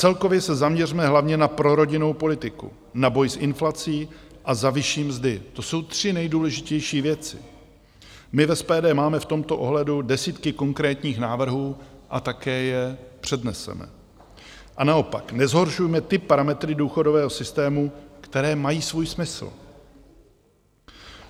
Celkově se zaměřme hlavně na prorodinnou politiku, na boj s inflací a za vyšší mzdy, to jsou tři nejdůležitější věci - my v SPD máme v tomto ohledu desítky konkrétních návrhů a také je předneseme - a naopak nezhoršujme ty parametry důchodového systému, které mají svůj smysl.